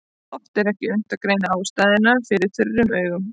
Oft er ekki unnt að greina ástæður fyrir þurrum augum.